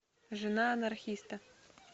жена анархиста